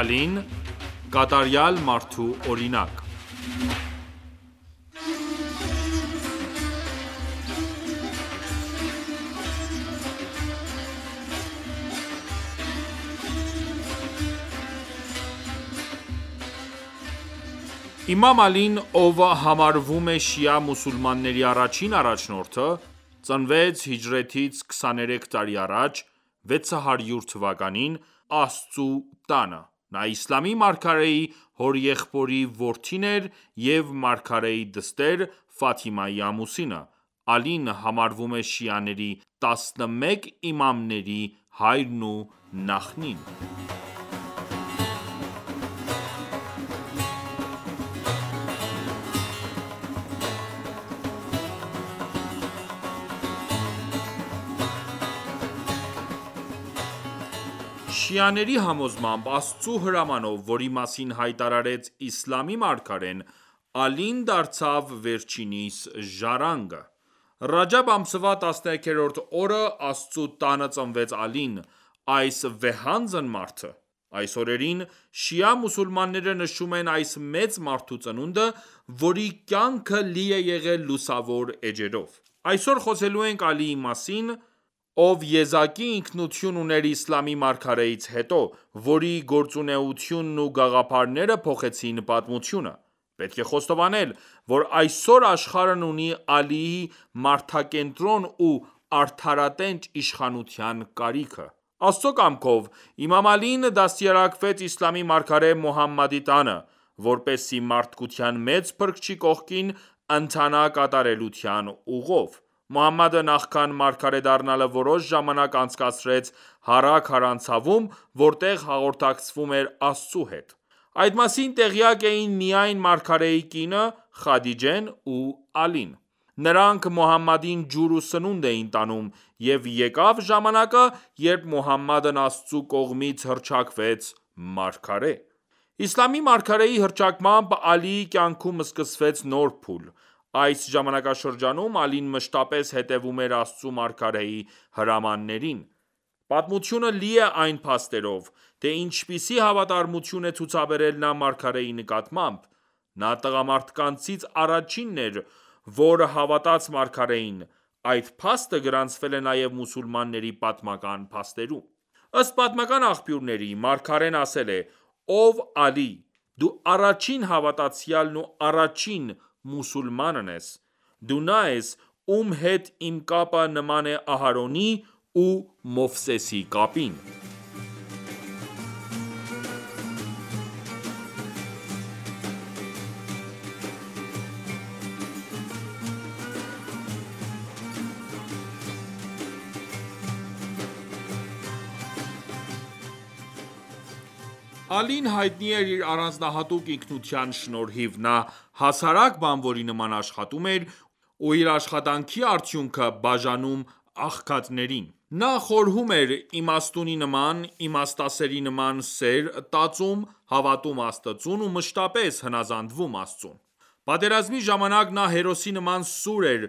Ալին՝ կատարյալ մարդու օրինակ Իմամ Ալին, ով համարվում է շիա մուսուլմանների առաջին առաջնորդը, ծնվեց հիջրեթից 23 տարի առաջ, 600 թվականին Աստծու տանը: Նա իսլամի մարգարեի հորեղբոր որդին էր և մարգարեի դստեր՝ Ֆաթիմայի ամուսինը: Ալին համարվում է շիաների 11 իմամների հայրն ու նախնին:Շիաների համոզմամբ, Աստծու հրամանով, որի մասին հայտարարեց իսլամի մարգարեն, Ալին դարձավ վերջինիս ժառանգը: Ռաջամբ ամսվա 13-րդ օրը Աստծու տանը ծնվեց Ալին, այս վեհանձն մարդը: Այս օրերին շիա մուսուլմանները նշում են այս մեծ մարդու ծնունդը, որի կյանքը լի է եղել լուսավոր էջերով: Այսօր խոսելու ենք Ալիի մասին, ով եզակի ինքնություն ուներ իսլամի մարգարեից հետո, որի գործունեությունն ու գաղափարները փոխեցին պատմությունը: Պետք է խոստովանել, որ այսօր աշխարհն ունի Ալիի մարդակենտրոն ու արդարատենչ իշխանության կարիքը: Աստծու կամքով իմամ Ալին դաստիարակվեց իսլամի մարգարե Մոհամմադի տանը, որպեսզի մարդկության մեծ փրկչի կողքին ընթանա կատարելության ուղով: Մոհամմադը նախքան մարգարե դառնալը որոշ ժամանակ անցկացրեց Հարա քարանձավում, որտեղ հաղորդակցվում էր Աստծու հետ: Այդ մասին տեղյակ էին միայն մարգարեի կինը՝ Խադիջեն ու Ալին: Նրանք Մոհամմադին ջուր ու սնունդ էին տանում: Եվ եկավ ժամանակը, երբ Մոհամմադն Աստծու կողմից հռչակվեց մարգարե: Իսլամի մարգարեի հռչակմամբ, Ալիի կյանքում սկսվեց նոր փուլ: Այս ժամանակաշրջանում Ալին մշտապես հետևում էր Աստծու մարգարեի հրամաններին: Պատմությունը լի է այն փաստերով, թե ինչպիսի հավատարմություն է ցուցաբերել նա մարգարեի նկատմամբ: Նա առաջինն էր, որ հավատաց մարգարեին: Այդ փաստը գրանցվել է նաև մուսուլմանների պատմական փաստերում: Ըստ պատմական աղբյուրների, մարգարեն ասել է. «Ով Ալի, դու առաջին հավատացյալն ու առաջին մուսուլմանն ես: Դու նա ես, ում հետ իմ կապը նման է Ահարոնի ու Մովսեսի կապին»: Ալին հայտնի էր իր առանձնահատուկ ինքնության շնորհիվ: Նա հասարակ բանվորի նման աշխատում էր ու իր աշխատանքի արդյունքը բաժանում աղքատներին: Նա խորհում էր իմաստունի նման, իմաստասերի նման սեր տածում, հավատում Աստծուն ու մշտապես հնազանդվում Աստծուն: Պատերազմի ժամանակ նա հերոսի նման սուր էր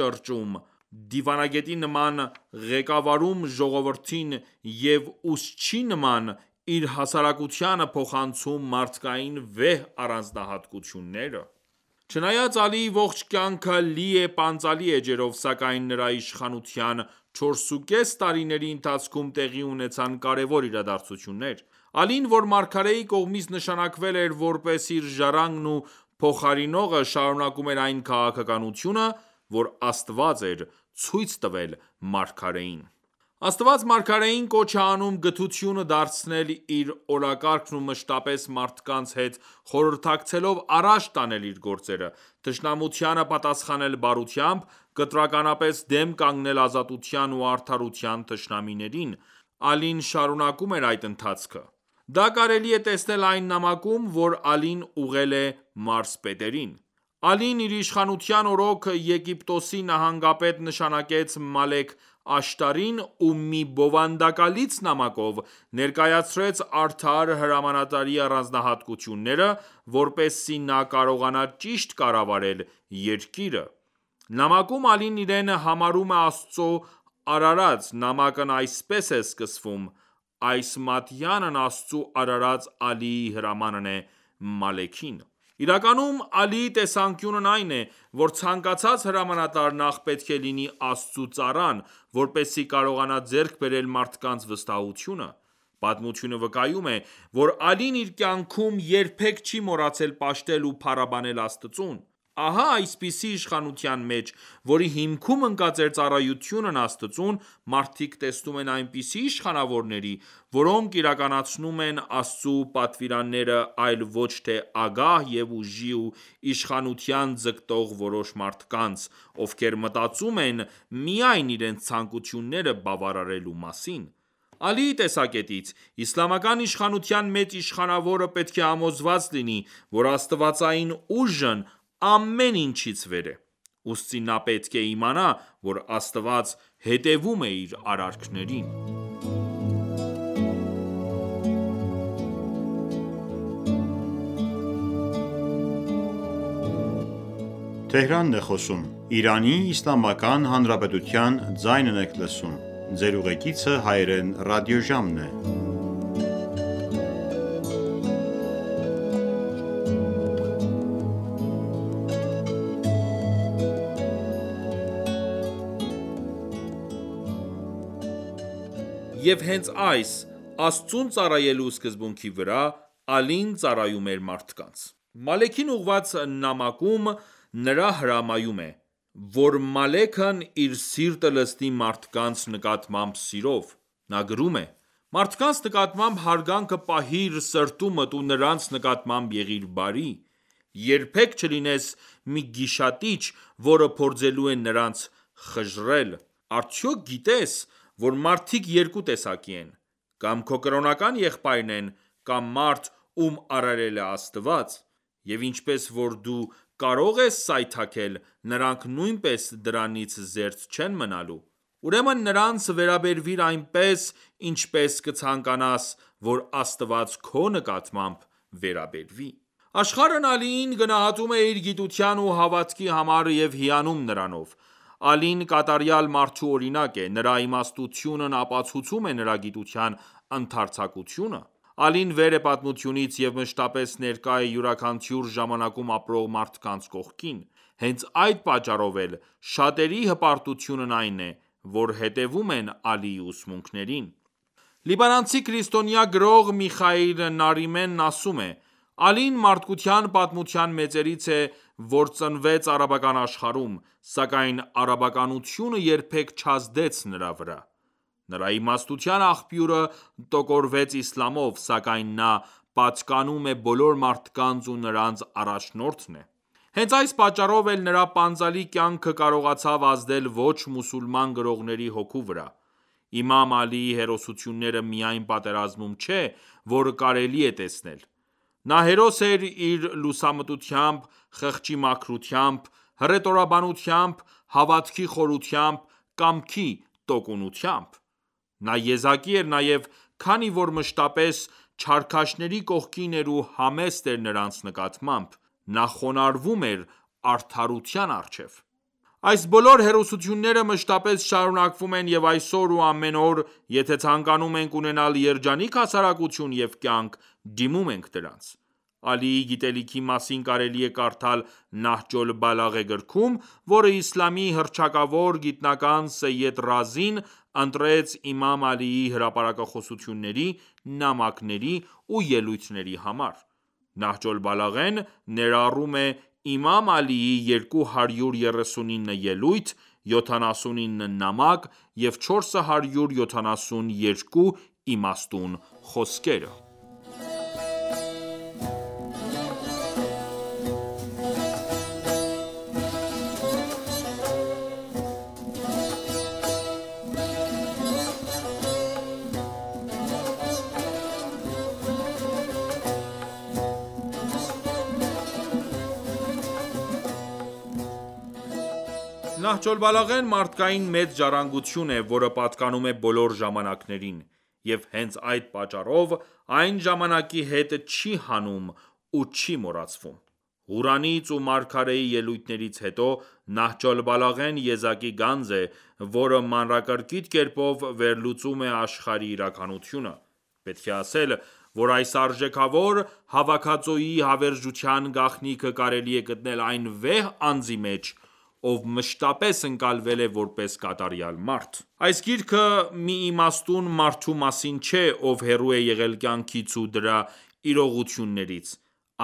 ճոճում, դիվանագետի նման ղեկավարում ժողովրդին և ուսուցչի նման իր հասարակությանը փոխանցում մարդկային վեհ առանձնահատկությունները: Չնայած Ալիի ողջ կյանքը լի է պանծալի էջերով, սակայն նրա իշխանության 4.5 տարիների ընթացքում տեղի ունեցան կարևոր իրադարձություններ: Ալին, որ մարգարեի կողմից նշանակլվել էր որպես իր ժառանգն ու փոխարինողը, շարունակում էր այն քաղաքականությունը, որ Աստված էր ցույց տվել մարգարեին: Աստված մարգարեին կոչ է անում գթությունը դարձնել իր օրակարգն ու մշտապես մարդկանց հետ խորհրդակցելով, առաջ տանել իր գործերը, թշնամությանը պատասխանել բարությամբ, կտրականապես դեմ կանգնել ազատության ու արդարության թշնամիներին: Ալին շարունակում էր այդ ընթացքը: Դա կարելի է տեսնել այն նամակում, որ Ալին ուղղել է մարզպետերին: Ալին իր իշխանության օրոք Եգիպտոսի նահանգապետ նշանակեց Մալեք Աշտարին ու մի բովանդակալից նամակով ներկայացրեց արդար հրամանատարի առանձնահատկությունները, որպեսզի նա կարողանա ճիշտ կառավարել երկիրը: Նամակում Ալին իրեն համարում է Աստծու արարած: Նամակն այսպես է սկսվում. «Այս մատյանն Աստծու արարած Ալիի հրամանն է Մալեքին»: Իրականում Ալիի տեսանկյունն այն է, որ ցանկացած հրամանատար նախ պետք է լինի Աստծու ծառան, որպեսզի կարողանա ձեռք բերել մարդկանց վստահությունը: Պատմությունը վկայում է, որ Ալին իր կյանքում երբեք չի մոռացել պաշտել ու փառաբանել Աստծուն: Ահա այսպիսի իշխանության մեջ, որի հիքմում ընկած էր ծառայությունն Աստծուն, մարդիկ տեսնում են այնպիսի իշխանավորների, որոնք իրականացնում են Աստծու պատվիրանները այլ ոչ թե ագահ և ուժի ու իշխանության ձգտող որոշ մարդկանց, ովքեր մտածում են միայն իրենց ցանկությունները բավարարելու մասին: Ալիի տեսակետից, իսլամական իշխանության մեջ իշխանավորը պետք է համոզված լինի, որ աստվածային ուժն ամեն ինչից վեր է: Ուստի նա պետք է իմանա, որ Աստված հետևում է իր արարքներին: Եվ հենց այս՝ Աստծուն ծառայելու սկսբունքի վրա, Ալին ծառայում էր մարդկանց: Մալեքին ուղղված նամանակում նա հրամայում է, որ Մալեքն իր սիրտը լցնի մարդկանց նկատմամբ սիրով: Նա գրում է. «Մարդկանց նկատմամբ հարգանքը պահիր սրտումդ ու նրանց նկատմամբ եղիր բարի: Երբեք չլինես մի գիշատիչ, որը փորձելու է նրանց խժռել: Արդյոք գիտե՞ս, որ մարդիկ երկու տեսակի են: Կամ քո կրոնական եղբայրն են, կամ մարդ, ում արարել է Աստված: Եվ ինչպես որ դու կարող ես սայթաքել, նրանք նույնպես դրանից զերծ չեն մնալու: Ուրեմն նրանց վերաբերվիր այնպես, ինչպես կցանկանաս, որ Աստված քո նկատմամբ վերաբերվի»: Աշխարհն Ալիին գնահատում է իր գիտության ու հավատքի համար և հիանում նրանով: Ալին կատարյալ մարդու օրինակ է: Նրա իմաստությունն ապաուցում է նրա գիտության ընդարձակությունը: Ալին վեր է պատմությունից և մշտապես ներկա է յուրաքանչյուր ժամանակում ապրող մարդկանց կողքին: Հենց այդ պատճառով էլ շատերի հպարտությունն այն է, որ հետևում են Ալիի ուսմունքներին: Լիբանանցի քրիստոնյա գրող Միխայիլ Նարիմեն ասում է. «Ալին մարդկության պատմության մեծերից է, որ ծնվեց արաբական աշխարհում: Սակայն արաբականությունը երբեք չազդեց նրա վրա: Նրա իմաստության աղբյուրը տոգորվեց իսլամով: Սակայն նա պատկանում է բոլոր մարդկանց ու նրանց առաջնորդն է»: Հենց այս պատճառով էլ նրա պանծալի կյանքը կարողացավ ազդել ոչ մուսուլման գրողների հոգու վրա: Իմամ Ալիի հերոսությունները միայն պատերազմում չէ որ կարելի է տեսնել: Նա հերոս էր իր լուամտությամբ, խղճի մաքրությամբ, հռետորաբանությամբ, հավատքի խորությամբ, կամքի տոկունությամբ: Նա եզակի էր նաև, քանի որ մշտապես չարքաշների կողքին էր ու համեստ էր նրանց նկատմամբ: Նա խոնարհվում էր արադարության առջև: Այս բոլոր հերոսությունները մշտապես շարունակվում են և այսօր ու ամեն օր, եթե ցանկանում ենք ունենալ երջանիկ հասարակություն և կյանք, դիմում ենք դրանց: Ալիի գիտելիքի մասին կարելի է կարդալ Նահջ օլ-Բալաղե գրքում, որը իսլամի հռչակավոր գիտնական Սեյեդ Ռազին ընտրեց իմամ Ալիի հրապարակախոսությունների, նամակների ու ելույթների համար: Նահջ օլ-Բալաղեն ներառում է իմամ Ալիի 239 ելույթ, 79 նամակ և 472 իմաստուն խոսքերը: Նահջ օլ-Բալաղեն մարդկային մեծ ժառանգություն է, որը պատկանում է բոլոր ժամանակներին: Եվ հենց այդ պատճառով, այն ժամանակի հետ չի հնանում ու չի մոռացվում: Ղուրանից ու մարգարեի ելույթներից հետո, Նահջ օլ-Բալաղեն եզակի գանձ է, որը մանրակրկիտ կերպով վերլուծում է աշխարհի իրականությունը: Պետք է ասել, որ այս արժեքավոր հավաքածուի հավերժության գաղտնիքը կարելի է գտնել այն վեհ անձի մեջ, ով մշտապես ընկալվել է որպես կատարյալ մարդ: Այս գիրքը մի իմաստուն մարդու մասին չէ, ով հեռու է եղել կյանքից ու դրա իրողություններից: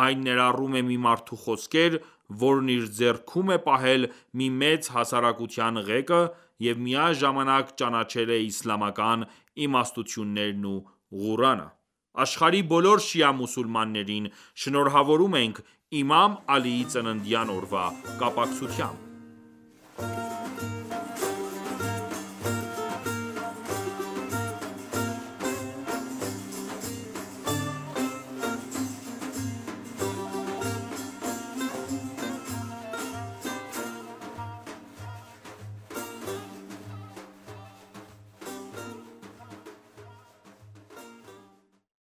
Այն ներառում է մի մարդու խոսքեր, որն իր ձեռքում է պահել մի մեծ հասարակության ղեկը և միաժամանակ ճանաչել է իսլամական իմաստություններն ու Ղուրանը: Աշխարհի բոլոր շիա մուսուլմաններին շնորհավորում ենք իմամ Ալիի ծննդյան օրվա կապակցությամբ: